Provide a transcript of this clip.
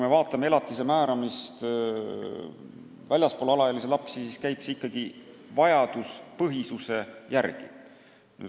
Kui jutt on elatise määramisest kellelegi teisele, mitte alaealistele lastele, siis käib see ikkagi vajaduspõhisuse järgi.